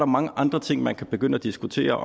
mange andre ting man kan begynde at diskutere